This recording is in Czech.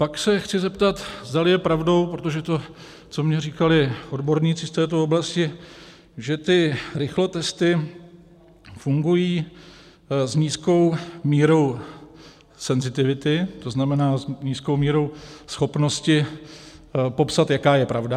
Pak se chci zeptat, zdali je pravdou - protože to, co mi říkali odborníci z této oblasti, že ty rychlotesty fungují s nízkou mírou senzitivity, to znamená s nízkou mírou schopnosti popsat, jaká je pravda.